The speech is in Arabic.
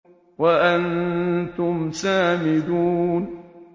وَأَنتُمْ سَامِدُونَ